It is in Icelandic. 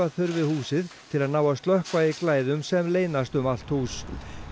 þurfi húsið til að ná að slökkva í glæðum sem leynast um allt hús